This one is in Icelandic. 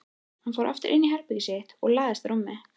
Hann fór aftur inní herbergið sitt og lagðist á rúmið.